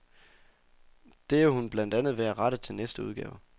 Det er hun blandt andet ved at rette til næste udgave.